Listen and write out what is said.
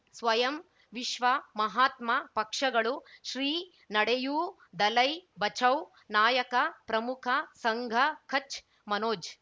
ಸ್ವಯಂ ವಿಶ್ವ ಮಹಾತ್ಮ ಪಕ್ಷಗಳು ಶ್ರೀ ನಡೆಯೂ ದಲೈ ಬಚೌ ನಾಯಕ ಪ್ರಮುಖ ಸಂಘ ಕಚ್ ಮನೋಜ್